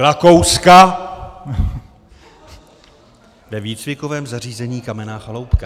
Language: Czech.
Rakouska ve výcvikovém zařízení Kamenná chaloupka.